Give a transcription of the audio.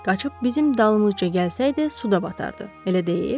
Qaçıb bizim dalımızca gəlsəydi, suda batardı, elə deyil?